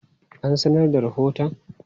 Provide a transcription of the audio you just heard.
An sanar da rahoton?